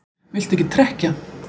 Viltu ekki trekkja?